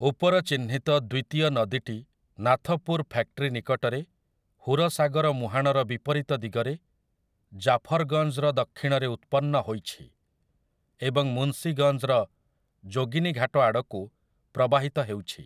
ଉପର ଚିହ୍ନିତ ଦ୍ୱିତୀୟ ନଦୀଟି ନାଥପୁର ଫ୍ୟାକ୍ଟ୍ରି ନିକଟରେ, ହୁରସାଗର ମୁହାଣର ବିପରୀତ ଦିଗରେ, ଜାଫର୍‌ଗଞ୍ଜ୍‌ର ଦକ୍ଷିଣରେ ଉତ୍ପନ୍ନ ହୋଇଛି ଏବଂ ମୁନ୍ସିଗଞ୍ଜ୍‌ର ଯୋଗୀନୀଘାଟ ଆଡ଼କୁ ପ୍ରବାହିତ ହେଉଛି ।